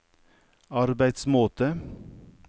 arbeidsmåte